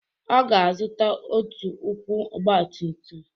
Ọ ga-azụta otu ụkwụ ọgbatumtum.